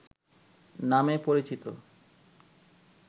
নামে পরিচিত